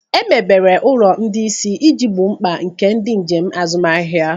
Emebere ụlọ ndị isi iji gboo mkpa nke ndị njem azụmahịa.